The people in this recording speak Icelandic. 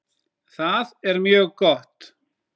Það er mjög gott.